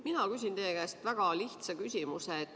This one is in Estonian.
Mina küsin teie käest väga lihtsa küsimuse.